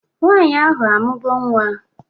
Nwaanyị ahụ amugo nwa?